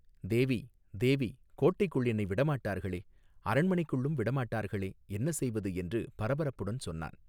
தேவி தேவி கோட்டைக்குள் என்னை விடமாட்டார்களே அரண்மனைக்குள்ளும் விடமாட்டார்களே என்ன செய்வது என்று பரபரப்புடன் சொன்னான்.